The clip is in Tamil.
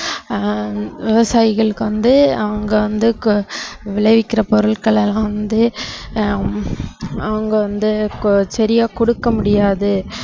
ஆஹ் விவசாயிகளுக்கு வந்து அவங்க வந்து கு~ விளைவிக்கிற பொருட்கள் எல்லாம் வந்து ஹம் அவங்க வந்து கு~ சரியா கொடுக்க முடியாது